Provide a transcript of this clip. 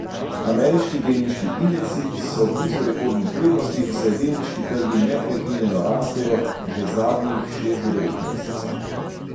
Ameriški delniški indeksi so blizu rekordnih vrednosti, saj delniški trgi neprekinjeno rastejo že zadnjih šest do devet mesecev.